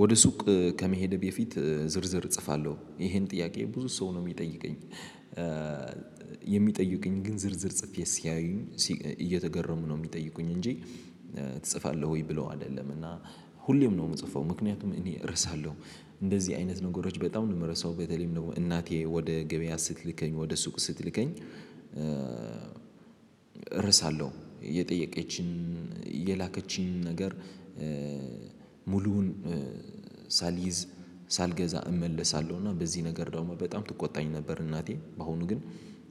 ወደ ሱቅ ከመሄዴ በፊት ዝርዝር እጽፋለሁ ይሄን ጥያቄ ብዙ ሰው ነው የሚጠይቀኝ። የሚጠይቀኝ ግን ዝርዝር ጽፌ ሲያዩኝ እየተገረሙ ነው የሚጠይቁኝ እንጂ ትጽፋለህ ወይ ብሎ አይደለም። እና ሁሌም ነው የምጽፈው ምክንያቱም እኔ እረሳለሁ። እንደዚህ አይነት ነገሮች በጣም ነው የምርሰው በተለይም ደግሞ እናቴ ወደ ገበያ ስትልከኝ ወደ ሱቅ ስትልከኝ። እረሳለሁ የጠየቀችኝን የላከችኝ ነገር ሙሉውን ሳልይዝ ሳልገዛ እመለሳለሁ። እና በዚህ ነገር ደሞ በጣም ትቆጣኝ ነበር። እናቴ አሁን ግን